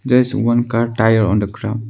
there is one car tyre on the ground.